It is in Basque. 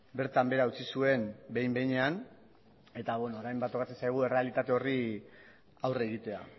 bertan behera utzi zuen behin behinean eta orain tokatzen zaigu errealitate horri aurre egitea